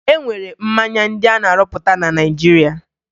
E nwere mmanya ndị a na-arụpụta na Naịjirịa